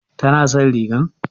Tana son rigar?